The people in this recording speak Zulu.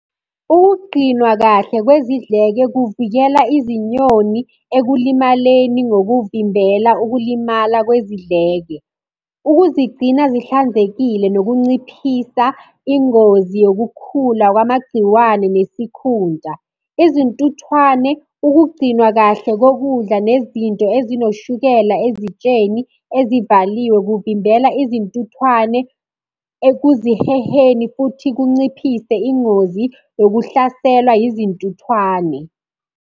Ukugqinwa kahle kwezidleke kuvikela izinyoni ekulimaleni ngokuvimbela ukulimala kwezidleke. Ukuzigcina zihlanzekile nokunciphisa ingozi yokukhula kwamagciwane nesikhunta. Izintuthwane, ukugcinwa kahle kokudla nezinto ezinoshukela ezitsheni ezivaliwe kuvimbela izintuthwane ekuziheheni, futhi kunciphise ingozi yokuhlaselwa yizintuthwane.